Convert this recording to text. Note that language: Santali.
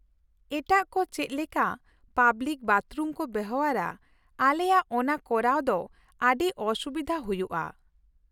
ᱮᱴᱟᱜ ᱠᱚ ᱪᱮᱫ ᱞᱮᱠᱟ ᱯᱟᱵᱞᱤᱠ ᱵᱟᱛᱷᱨᱩᱢ ᱠᱚ ᱵᱮᱣᱦᱟᱨᱟ ᱟᱞᱮᱭᱟᱜ ᱚᱱᱟ ᱠᱚᱨᱟᱣ ᱫᱚ ᱟᱹᱰᱤ ᱚᱼᱥᱩᱵᱤᱫᱷᱟ ᱦᱩᱭᱩᱜᱼᱟ ᱾